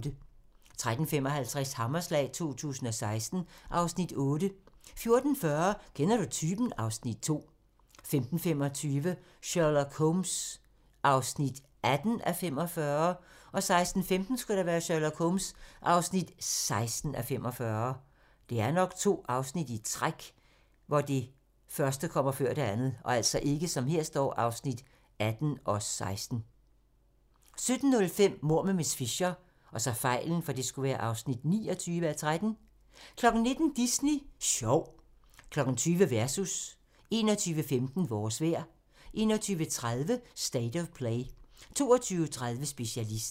13:55: Hammerslag 2016 (Afs. 8) 14:40: Kender du typen? (Afs. 2) 15:25: Sherlock Holmes (18:45) 16:15: Sherlock Holmes (16:45) 17:05: Mord med miss Fisher (29:13) 19:00: Disney Sjov 20:00: Versus 21:15: Vores vejr 21:30: State of Play 23:30: Specialisten